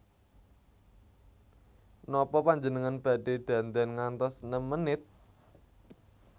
Nopo panjenengan badhe dandan ngantos nem menit?